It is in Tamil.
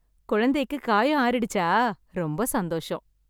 குழந்தைக்கு காயம் ஆறிடுச்சா? ரொம்ப சந்தோசம்!